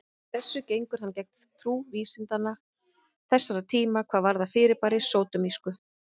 Með þessu gengur hann gegn trú vísinda þessara tíma hvað varðar fyrirbærið sódómísku.